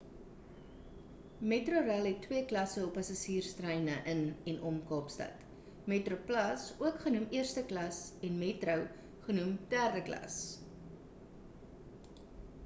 metrorail het twee klasse op passasierstreine in en om kaapstad: metroplus ook genoem eerste klas en metro genoem derde klas